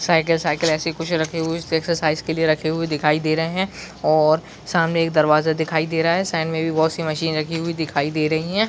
Cycle cycle ऐसे कुछ रहे हुए है ऐसे एक्सरसाइज के लिए रखे हुए दिखाई दे रहे है और सामने एक दरवाजा दिखाई दे रहा है साइड में बहुत सी मशीन राखी हुई दे रही है।